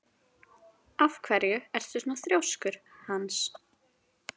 Af hverju ertu svona þrjóskur, Hans?